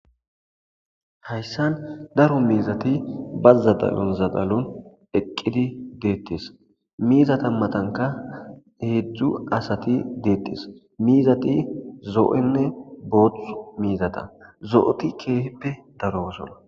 Hayssan daro miizati ba zadalon zadalon eqqidi deettes miizata matanka heedzdzu asati deettes miizati zo'onne booththu miizata zo'oti keehippe darosona.